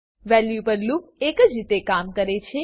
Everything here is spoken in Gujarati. વેલ્યુ પર લૂપ એક જ રીતે કામ કરે છે